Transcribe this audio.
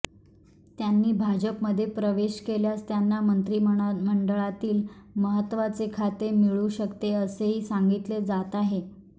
त्यांनी भाजपमध्ये प्रवेश केल्यास त्यांना मंत्रीमंडळातील महत्वाचे खाते मिळू शकते असेही सांगितले जात आहे